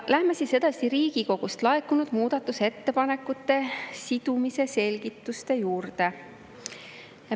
Läheme edasi Riigikogust laekunud muudatusettepanekute sidumise selgituste juurde.